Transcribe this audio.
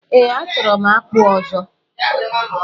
Ee, achọrọ m akpu ọzọ.